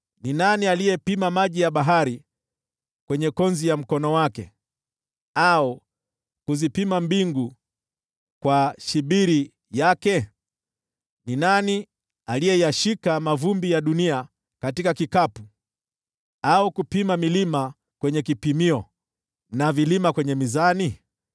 Ni nani aliyepima maji ya bahari kwenye konzi ya mkono wake, au kuzipima mbingu kwa shibiri yake? Ni nani aliyeyashika mavumbi ya dunia katika kikapu, au kupima milima kwenye kipimio na vilima kwenye mizani?